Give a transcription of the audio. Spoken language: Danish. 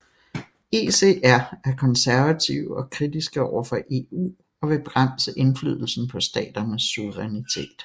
ECR er konservative og kritiske overfor EU og vil begrænse indflydelsen på staternes suverænitet